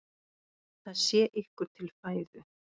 Það sé ykkur til fæðu.